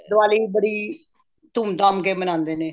ਦੀਵਾਲੀ ਬੜੀ ਧੂਮ ਧਾਮ ਕੇ ਮਨਾਦੇ ਨੇ